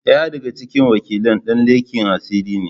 Ɗaya daga cikin wakilan dan leken asiri ne.